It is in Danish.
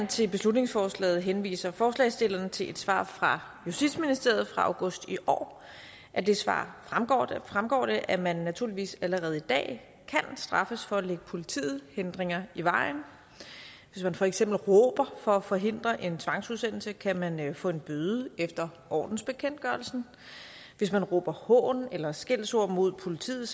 til beslutningsforslaget henviser forslagsstillerne til et svar fra justitsministeriet fra august i år af det svar fremgår det at man naturligvis allerede i dag kan straffes for at lægge politiet hindringer i vejen hvis man for eksempel råber for at forhindre en tvangsudsendelse kan man få en bøde efter ordensbekendtgørelsen hvis man råber hån eller skældsord mod politiet